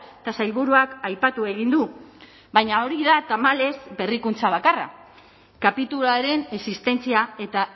eta sailburuak aipatu egin du baina hori da tamalez berrikuntza bakarra kapituluaren existentzia eta